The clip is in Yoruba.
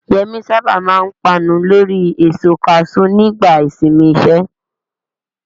Yemi sábà máa ń panu lórí èso kaṣú nígbà ìsinmi iṣẹ́.